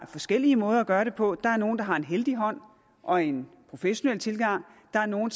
forskellige måder at gøre det på der er nogle der har en heldig hånd og en professionel tilgang der er nogle